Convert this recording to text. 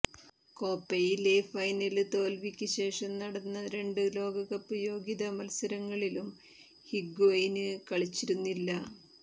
കോപയിലെ final തോല്വിക്ക് ശേഷം നടന്ന രണ്ട് ലോകകപ്പ് യോഗ്യതാ മത്സരങ്ങളിലും ഹിഗ്വെയിന് കളിച്ചിരുന്നില്ല